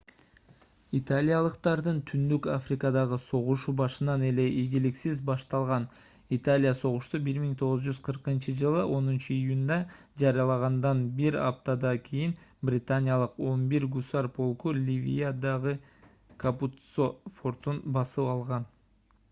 италиялыктардын түндүк африкадагы согушу башынан эле ийгиликсиз башталган италия согушту 1940-ж 10-июнда жарыялагандан бир аптада кийин британиялык 11-гусар полку ливиядагы капуццо фортун басып алган